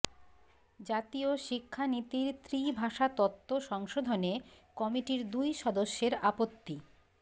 জাতীয় শিক্ষা নীতির ত্রিভাষা তত্ত্ব সংশোধনে কমিটির দুই সদস্যের আপত্তি